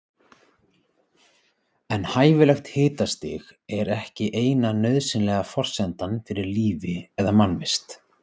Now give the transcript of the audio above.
En hæfilegt hitastig er ekki eina nauðsynlega forsendan fyrir lífi eða mannvist.